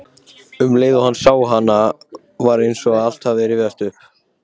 Um leið og hann sá hana var eins og allt rifjaðist upp.